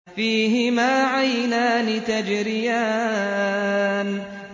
فِيهِمَا عَيْنَانِ تَجْرِيَانِ